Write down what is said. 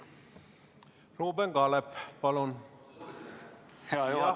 Ruuben Kaalep, palun!